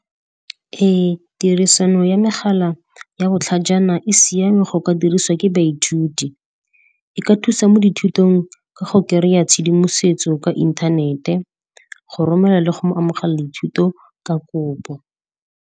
Ee, tirisano ya megala ya botlhajana e siame go ka diriswa ke baithuti. E ka thusa mo dithutong ka go kereya tshedimosetso ka inthanete, go romela le go mo amogela dithuto ka kopo.